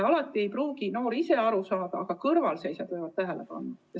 Alati ei pruugi noor toimuvast ise aru saada, aga kõrvalseisjad võivad tähele panna.